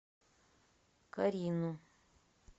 карину